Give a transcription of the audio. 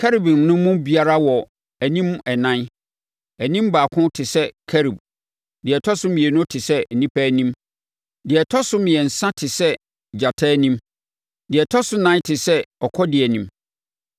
Kerubim no mu biara wɔ anim ɛnan. Anim baako te sɛ kerub, deɛ ɛtɔ so mmienu te sɛ onipa anim, deɛ ɛtɔ so mmiɛnsa te sɛ gyata anim, deɛ ɛtɔ so ɛnan te sɛ ɔkɔdeɛ anim.